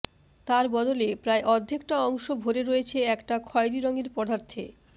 তার বদলে প্রায় অর্ধেকটা অংশ ভরে রয়েছে একটা খয়েরি রঙের পদার্থে